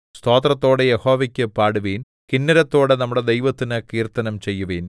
സ്തോത്രത്തോടെ യഹോവയ്ക്കു പാടുവിൻ കിന്നരത്തോടെ നമ്മുടെ ദൈവത്തിന് കീർത്തനം ചെയ്യുവിൻ